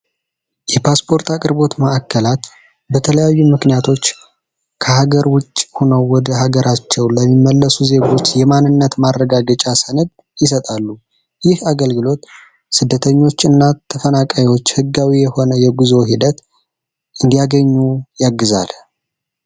የፓስፖርት አቅርቦት መዕከላት በተለያዩ ምክንያቶች ከሀገር ውጭ ሆነው ወደ ሀገራቸው ለሚመለሱ ዜግች የማንነት ማድረዳ ድጫ ሰንድ ይሰጣሉ። ይህ አገልግሎት ስደተኞች እና ተፈናቃዮች ሕጋዊ የሆነ የጉዞ ሂደት እንዲያገኙ ያግዛል።